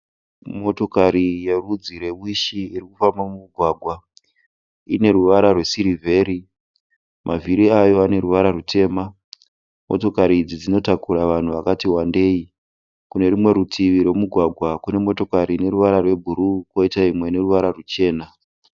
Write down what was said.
Motokari yerudzi rwewishi irikufamba mumugwagwa. Ineruvara rwesirivheri, mavhiri ayo aneruvara rwutema. Motokari idzi dzinotakura vanhu vakati wandei. Kunerumwe rutivi rwomugwagwa kunemotokari ineruvara rwebhuruu koita imwe ineruvara rwuchena.